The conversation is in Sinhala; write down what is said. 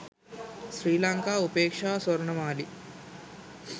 sri lanka upeksha swarnamali